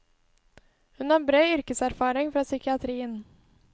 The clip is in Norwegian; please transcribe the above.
Hun har bred yrkeserfaring fra psykiatrien.